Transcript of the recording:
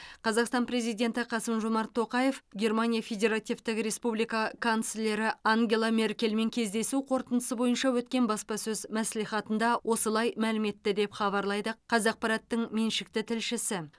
қазақстан президенті қасым жомарт тоқаев германия федеративтік республика канцлері ангела меркельмен кездесу қорытындысы бойынша өткен баспасөз мәслихатында осылай мәлім етті деп хабарлайды қазақпарат тың меншікті тілшісі